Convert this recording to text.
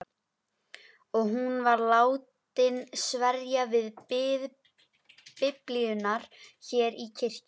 Og hún var látin sverja við Biblíuna hér í kirkjunni.